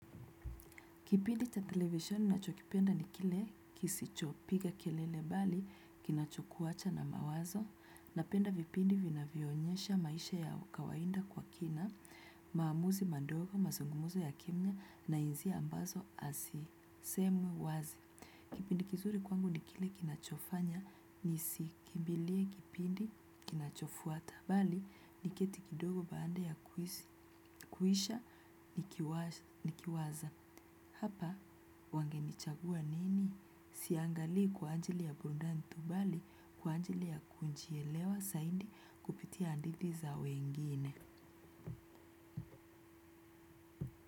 Kipindi cha televisheni nacho kipenda ni kile kisichopiga kelele bali kinachokuwacha na mawazo na penda vipindi vina vionyesha maisha ya kawaida kwa kina, maamuzi madogo, mazungumuzi ya kimya na hisia ambazo hazisemwi wazi. Kipindi kizuri kwangu ni kile kinachofanya ni siki kimbilie kipindi kinachofuata bali niketi kidogo baanda ya kuhisha nikiwaza. Hapa, wangenichagua nini? Siangali kwa ajili ya burudani tubali kwa ajili ya kujielewa zaidi kupitia hadithi za wengine.